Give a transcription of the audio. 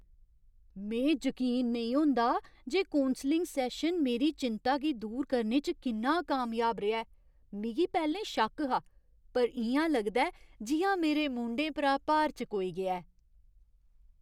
में जकीन नेईं होंदा जे कौंसलिङ सैशन मेरी चिंता गी दूर करने च किन्ना कामयाब रेहा ऐ। मिगी पैह्‌लें शक्क हा, पर इ'यां लगदा ऐ जि'यां मेरे मूंढें परा भार चकोई गेआ ऐ।